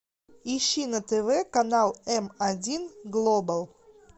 ищи на тв канал м один глобал